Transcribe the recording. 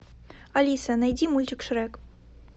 алиса найди мультик шрек